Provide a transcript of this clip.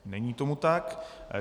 Není tomu tak.